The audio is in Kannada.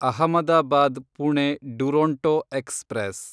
ಅಹಮದಾಬಾದ್ ಪುಣೆ ಡುರೊಂಟೊ ಎಕ್ಸ್‌ಪ್ರೆಸ್